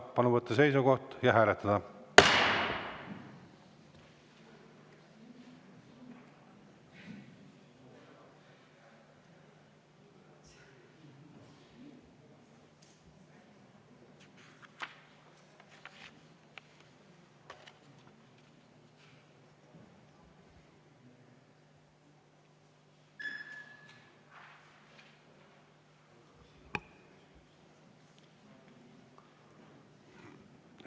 Palun võtta seisukoht ja hääletada!